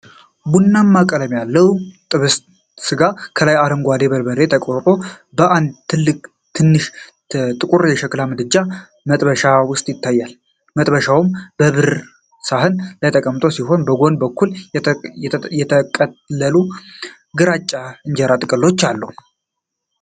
ቡናማ ቀለም ያለው ጥብስ ሥጋ ከላይ በአረንጓዴ በርበሬ ተቆርጦ በአንድ ትንሽ ጥቁር የሸክላ ምድጃ (መጥበሻ) ውስጥ ይታያል። መጥበሻው በብር ሳህን ላይ ተቀምጦ ሲሆን፣ በጎን በኩል የተጠቀለሉ ግራጫማ የእንጀራ ጥቅሎች አሉ።